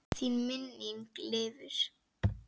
Þín minning lifir.